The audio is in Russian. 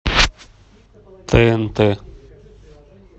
тнт